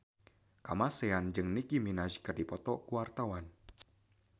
Kamasean jeung Nicky Minaj keur dipoto ku wartawan